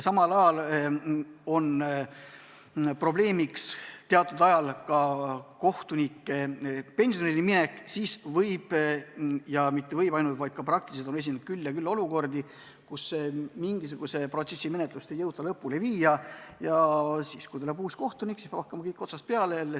Samal ajal on probleemiks kohtunike pensionile minek ja praktiliselt on esinenud küll ja küll olukordi, kus mingisuguse protsessi menetlust ei jõuta sel põhjusel lõpuni viia ja kui tuleb uus kohtunik, siis peab kõik jälle otsast peale hakkama.